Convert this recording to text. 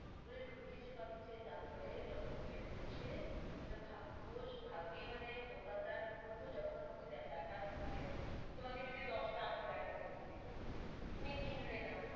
কি করে ডুকিয়েছে পাকিট এ তার পরে যখন বেরোচ্ছে, তা ভাগস, ভাগে মানে দোকানদার কি করলো যখন ওকে দেখা মানে, তোমাকে যদি দশ টা আংঠি দেখাতে দিলো, তুমি কিনলে না,